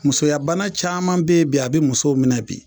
Musoyabana caman bɛ yen bi a bɛ musow minɛ bi